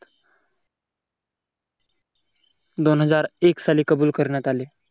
दोन हजार एक साली कबूल करण्यात आले.